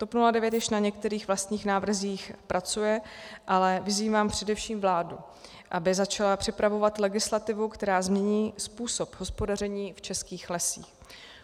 TOP 09 již na některých vlastních návrzích pracuje, ale vyzývám především vládu, aby začala připravovat legislativu, která změní způsob hospodaření v českých lesích.